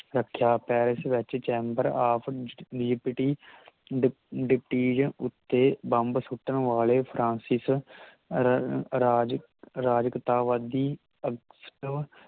ਰੱਖਿਆ ਪੈਰਿਸ ਵਿਚ chamber of ਡਿਕ ਉੱਤੇ ਬੰਬ ਸੁੱਟਣ ਵਾਲੇ ਫ੍ਰਾੰਸਿਸ ਰਰ ਰਾਜ ਅਰਾਜਕਤਾਵਾਦੀ